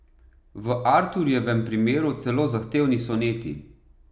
V Arturjevem primeru celo zahtevni soneti.